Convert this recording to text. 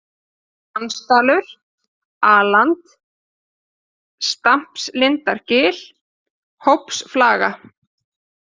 Dansdalur, A-land, Stampslindargil, Hópsflaga